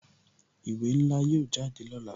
Ìwé ńlá yóò jáde lọ́la